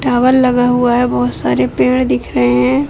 Tower लगा हुआ है बहुत सारे पेड़ दिख रहे हैं।